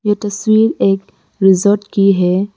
ये तस्वीर एक रिसॉर्ट की है।